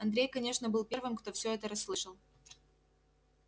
андрей конечно был первым кто всё это расслышал